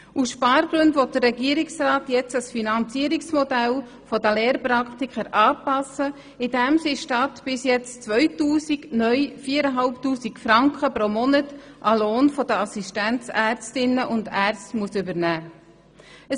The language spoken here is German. Aus Spargründen will der Regierungsrat das Finanzierungsmodell der Lehrpraktiker nun anpassen, indem sie statt bisher 2000 neu 4500 Franken pro Monat vom Lohn der Assistenzärztinnen und Assistenzärzte übernehmen müssen.